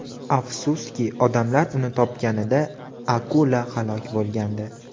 Afsuski, odamlar uni topganida akula halok bo‘lgandi.